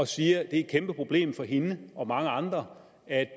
siger at det er et kæmpeproblem for hende og mange andre at